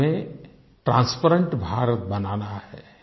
हमें ट्रांसपेरेंट भारत बनाना है